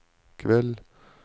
kveld